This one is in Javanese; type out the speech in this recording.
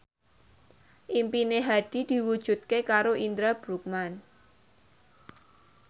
impine Hadi diwujudke karo Indra Bruggman